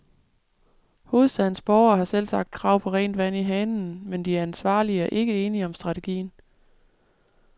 Hovedstadens borgere har selvsagt krav på rent vand i hanen, men de ansvarlige er ikke enige om strategien.